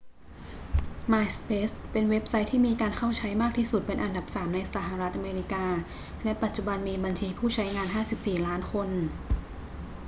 myspace เป็นเว็บไซต์ที่มีการเข้าใช้มากที่สุดเป็นอันดับสามในสหรัฐอเมริกา และปัจจุบันมีบัญชีผู้ใช้งาน 54 ล้านคน